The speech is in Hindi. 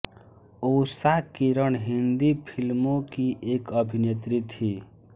ऊषा किरण हिन्दी फ़िल्मों की एक अभिनेत्री थीं